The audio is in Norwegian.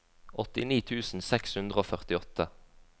åttini tusen seks hundre og førtiåtte